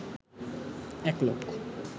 এক লোক